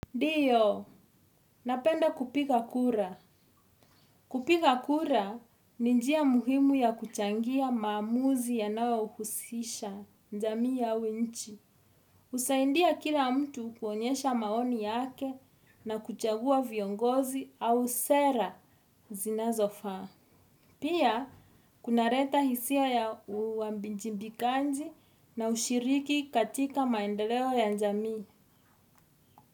Ndiyo, napenda kupiga kura. Kupiga kura ni njia muhimu ya kuchangia maamuzi yanayo husisha jamii au nchi husaidia kila mtu kuonyesha maoni yake na kuchagua viongozi au sera zinazofaa. Pia kunaleta hisia ya uwajibikaji na ushiriki katika maendeleo ya jamii.